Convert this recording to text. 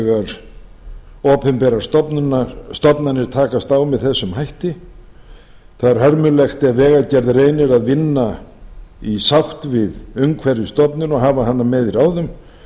þegar opinberar stofnanir takast á með þessum hætti það er hörmulegt ef vegagerðin reynir að vinna í sátt við umhverfisstofnun og hafa hana með í ráðum